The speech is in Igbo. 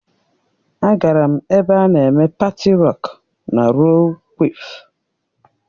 Agara m ebe a na-eme paati rocku na rollu kwịf.